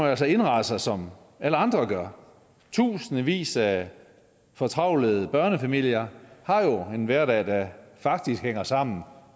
altså indrette sig som alle andre gør i tusindvis af fortravlede børnefamilier har en hverdag der faktisk hænger sammen